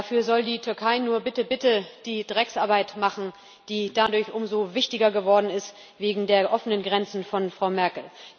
Dafür soll die Türkei nur bitte, bitte die Drecksarbeit machen, die dadurch umso wichtiger geworden ist wegen der offenen Grenzen von Frau Merkel.